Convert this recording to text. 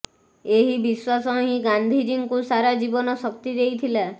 ଏହି ବିଶ୍ୱାସ ହିଁ ଗାନ୍ଧିଜୀଙ୍କୁ ସାରା ଜୀବନ ଶକ୍ତି ଦେଇଥିଲା